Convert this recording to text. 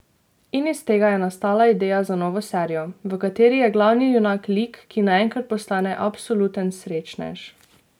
In iz tega je nastala ideja za novo serijo, v kateri je glavni junak lik, ki naenkrat postane absoluten srečnež.